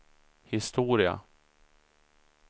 historia